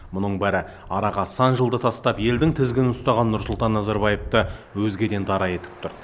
мұның бәрі араға сан жылды тастап елдің тізгінін ұстаған нұрсұлтан назарбаевты өзгеден дара етіп тұр